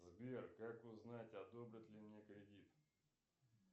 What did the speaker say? сбер как узнать одобрят ли мне кредит